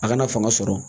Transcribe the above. A kana fanga sɔrɔ